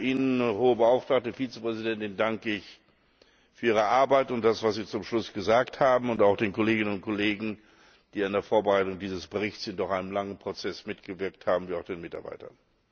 Ihnen, Hohe Beauftragte und Vizepräsidentin, danke ich für Ihre Arbeit und das, was Sie zum Schluss gesagt haben. Ich danke den Kolleginnen und Kollegen, die an der Vorbereitung dieses Berichts in einem langen Prozess mitgewirkt haben, wie auch den Mitarbeitern.